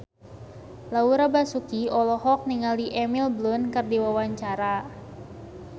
Laura Basuki olohok ningali Emily Blunt keur diwawancara